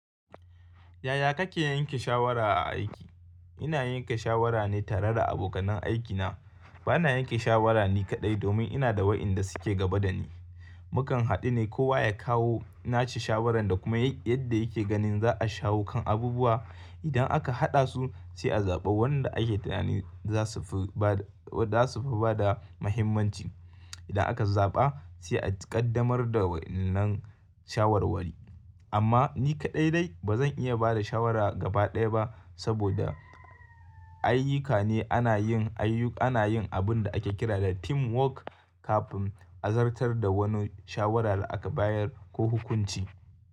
Yaya kake yanke shawara a aiki? Ina yanke shawara ne tare da abokanen aikina. Bana yanke shawara ni kaɗai domin ina da wayanda suke gaba da ni. Mukan haɗu ne kowa ya kawo nashi shawarar da kuma yadda yake ganin za a shawo kan abubuwa. Idan aka haɗa su, sai a zaɓa wanda ake tunanin za sufi bada mahimmanci. Idan aka zaɓa sai a ƙaddamar da wannan shawarwari. Amma ni kaɗai dai bazan iya bada shawara gabaɗaya ba saboda ayyuka ne ana yin abunda ake kira da teamwork kafin a zartar da wani shawara a bayar ko hukunci.